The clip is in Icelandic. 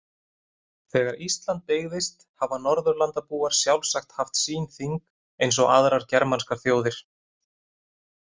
Þegar Ísland byggðist hafa Norðurlandabúar sjálfsagt haft sín þing eins og aðrar germanskar þjóðir.